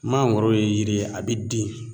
Mangoro ye yiri ye a bɛ den